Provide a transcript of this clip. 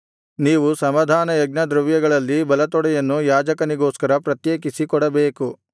ನೀವು ಸಮಾಧಾನಯಜ್ಞದ್ರವ್ಯಗಳಲ್ಲಿ ಬಲತೊಡೆಯನ್ನು ಯಾಜಕನಿಗೋಸ್ಕರ ಪ್ರತ್ಯೇಕಿಸಿ ಕೊಡಬೇಕು